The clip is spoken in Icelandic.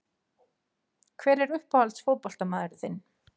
Hver er uppáhalds fótboltamaðurinn þinn?